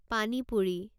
পানী পুৰি